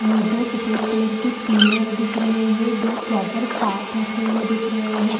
यह दो सफेद कलर के पिलर दिख रहै है दो प्रोपर पार्ट रखे हुए दिख रहै है।